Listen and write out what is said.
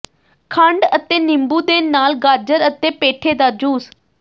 ਖੰਡ ਅਤੇ ਨਿੰਬੂ ਦੇ ਨਾਲ ਗਾਜਰ ਅਤੇ ਪੇਠੇ ਦਾ ਜੂਸ